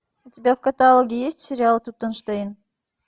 у тебя в каталоге есть сериал тутенштейн